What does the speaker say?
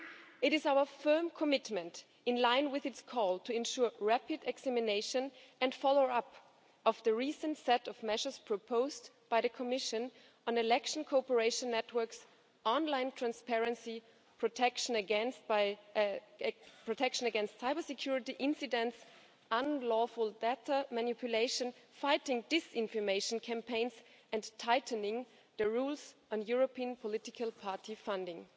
It is our firm commitment, in line with the call to ensure rapid examination and follow up of the recent set of measures proposed by the Commission on election cooperation networks, online transparency, protection against cybersecurity incidents, unlawful data manipulation, fighting disinformation campaigns and tightening the rules on European political party funding.